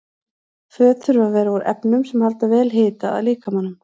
Föt þurfa að vera úr efnum sem halda vel hita að líkamanum.